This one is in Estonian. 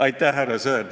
Aitäh, härra Sõerd!